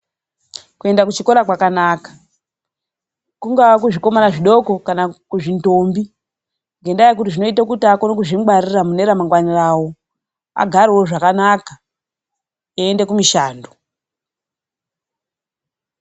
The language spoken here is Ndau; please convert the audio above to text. Kuenda kuchikora kwakanaka. Kungava kuzvikomana zvidoko kana kuzvindombi. Ngendaa yekuti zvinoita kuti akone kuzvingwarira mune ramangwani rawo. Agarewo zvakanaka. eende kumishando.